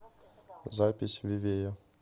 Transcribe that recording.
запись вивея